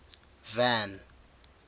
van